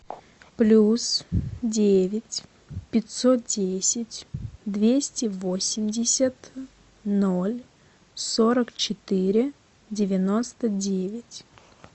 плюс девять пятьсот десять двести восемьдесят ноль сорок четыре девяносто девять